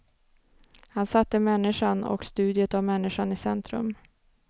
Han satte människan och studiet av människan i centrum.